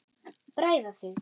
Bræða þig.